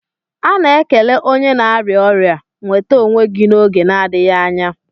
A na-ekele onye na-arịa ọrịa "nwete onwe gi n'oge na-adịghị anya